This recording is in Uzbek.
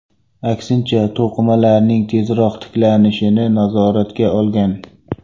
Aksincha, to‘qimalarning tezroq tiklanishini nazoratga olgan.